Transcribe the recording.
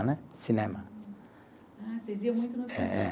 Né, cinema. Ah, vocês iam muito no. É, é